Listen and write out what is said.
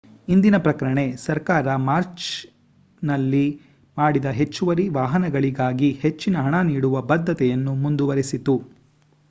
ಇಂದಿನ ಪ್ರಕಟಣೆ ಸರ್ಕಾರ ಮಾರ್ಚ್ನಲ್ಲಿ ಮಾಡಿದ ಹೆಚ್ಚುವರಿ ವಾಹನಗಳಿಗಾಗಿ ಹೆಚ್ಚಿನ ಹಣ ನೀಡುವ ಬದ್ಧತೆಯನ್ನು ಮುಂದುವರೆಸಿತು